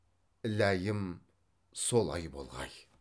ләйім солай болғай